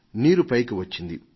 నీరు పైకి వచ్చింది